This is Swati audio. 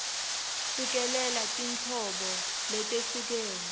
cikelela tinhlobo letehlukene